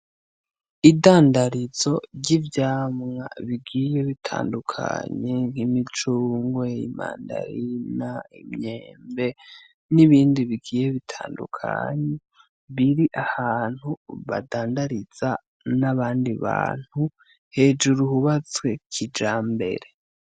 Idandarizo ry'ivyamwa bigiye bitandukanye nk'imicungwe, imandarina, imyembe n'ibindi bigiye bitandukanye biri ahantu badandariza n'abandi bantu hejuru hubatswe kijamberere .